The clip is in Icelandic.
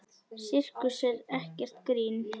Sirkus er ekkert grín.